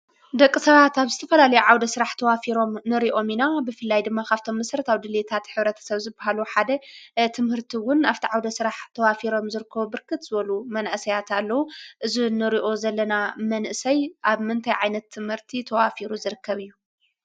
ደቂ ሰባት ኣብ ዝተፈላለዩ ዓውደ ስራሕ ተዋፊሮም ንሪኦም ኢና፡፡ ብፍላይ ድማ ካብ መሰረታዊ ድልየታት ሕብረተ ሰብ ዝባሃሉ ሓደ ትምህርቲ ውን ኣብቲ ዓውደ ስራሕ ተዋፊሮም ዝርከቡ ብርክት መናእሰያት ኣለው፡፡ እዚ እንሪኦ ዘለና መንእሰይ ኣብ ምንታይ ዓይነት ትምህርቲ ተዋፊሩ ዝርከብ እዩ?